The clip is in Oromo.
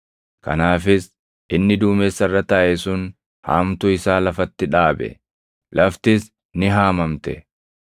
Kanaafis inni duumessa irra taaʼe sun haamtuu isaa lafatti dhaabe; laftis ni haamamte.